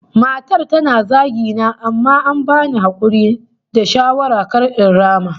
Matar tana zagi na amma an bani hakuri da shawara kar in rama